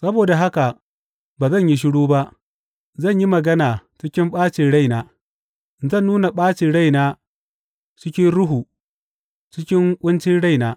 Saboda haka ba zan yi shiru ba; zan yi magana cikin ɓacin raina, zan nuna ɓacin raina cikin ruhu, cikin ƙuncin raina.